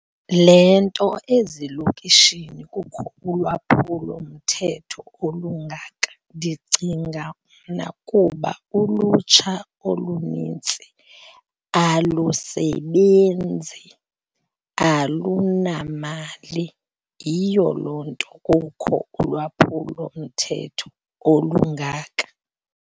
Le nto ezilokishini kukho ulwaphulomthetho olungaka ndicinga mna kuba ulutsha olunintsi alusebenzi alunamali. Yiyo loo nto kukho ulwaphulomthetho olungaka.